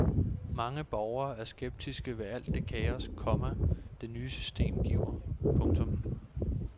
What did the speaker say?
Mange borgere er skeptiske ved alt det kaos, komma det nye system giver. punktum